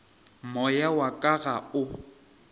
moya wa ka ga o